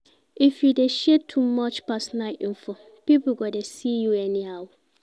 If you dey share too much personal info, pipo go dey see you anyhow.